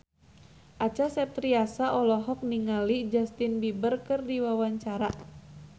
Acha Septriasa olohok ningali Justin Beiber keur diwawancara